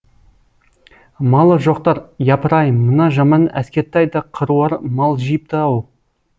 малы жоқтар япырай мына жаман әскертай да қыруар мал жиыпты ау